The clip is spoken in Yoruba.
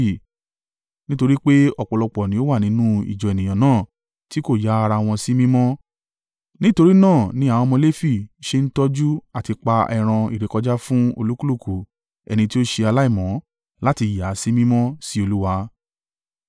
Nítorí pé ọ̀pọ̀lọpọ̀ ni ó wà nínú ìjọ ènìyàn náà tí kò yà ara wọn sí mímọ́: nítorí náà ni àwọn ọmọ Lefi ṣe ń tọ́jú àti pa ẹran ìrékọjá fún olúkúlùkù ẹni tí ó ṣe aláìmọ́, láti yà á sí mímọ́ sí Olúwa.